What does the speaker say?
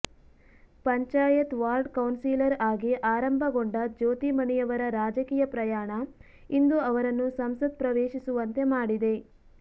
panchayat ward councillor ಆಗಿ ಆರಂಭಗೊಂಡ ಜ್ಯೋತಿಮಣಿಯವರ ರಾಜಕೀಯ ಪ್ರಯಾಣ ಇಂದು ಅವರನ್ನು ಸಂಸತ್ ಪ್ರವೇಶಿಸುವಂತೆ ಮಾಡಿದೆ